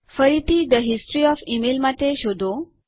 ફરીથીThe history of email માટે શોધો